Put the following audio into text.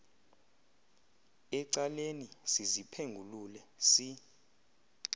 ecaleni siziphengulule si